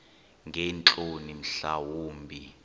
ngeentloni mhla wumbi